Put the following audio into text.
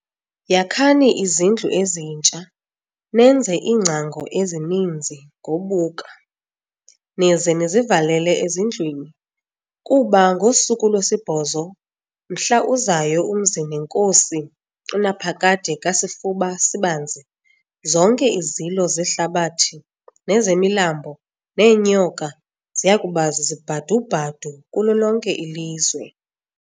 Yakhani izindlu ezintsha, nenze iingcango ezininzi ngobuka, nize nizivalele ezindlwini, kuba ngosuku lwesibhozo, mhla uzayo umzi nenkosi uNaphakade kaSifuba-Sibanzi, zonke izilo zehlabathi nezemilambo, neenyoka, ziyakuba zizibhadu-bhadu kulo lonke ilizwe.